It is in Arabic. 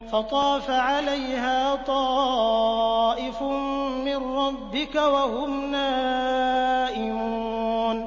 فَطَافَ عَلَيْهَا طَائِفٌ مِّن رَّبِّكَ وَهُمْ نَائِمُونَ